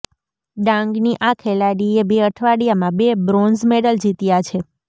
ડાંગની આ ખેલાડીએ બે અઠવાડિયામાં બે બ્રોન્ઝ મેડલ જીત્યા છે